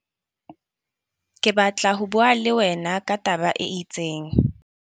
Ke batla ho bua le wena ka taba e itseng.